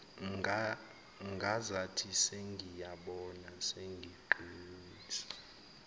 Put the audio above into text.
ngazathi sengiyabona sengiqinisa